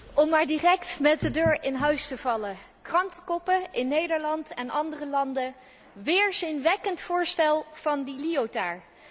Om maar direct met de deur in huis te vallen citeer ik de krantenkoppen in Nederland en andere landen Weerzinwekkend voorstel van Liotard.